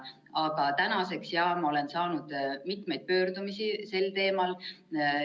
Aga tänaseks, jaa, ma olen saanud mitmeid pöördumisi sel teemal.